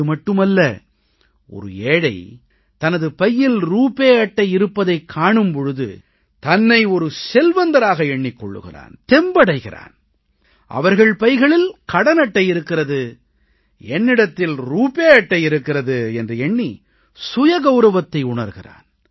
இதுமட்டுமல்ல ஒரு ஏழை தனது பையில் ரூபே அட்டை இருப்பதைக் காணும் பொழுது தன்னை ஒரு செல்வந்தராக எண்ணிக் கொள்கிறான் தெம்படைகிறான் அவர்கள் பைகளில் கடன் அட்டை இருக்கிறது என்னிடத்தில் ரூபே அட்டை இருக்கிறது என்று எண்ணி சுய கவுரவத்தை உணர்கிறான்